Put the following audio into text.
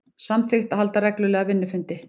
Samþykkt að halda reglulega vinnufundi